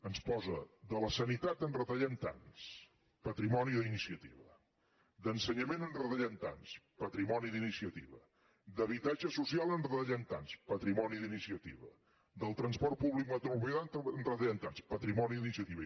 ens posa de la sanitat en retallem tants patrimoni d’iniciativa d’ensenyament en retallem tants patrimoni d’iniciativa d’habitatge social en retallem tants patrimoni d’iniciativa del transport públic metropolità en retallem tants patrimoni d’iniciativa